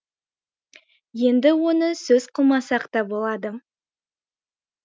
енді оны сөз қылмасақ та болады